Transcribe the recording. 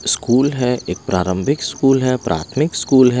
School है एक प्रारंभिक स्कूल है प्राथमिक स्कूल है।